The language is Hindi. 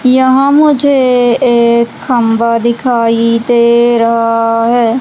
यहां मुझे एक खंभा दिखाई दे रहा है।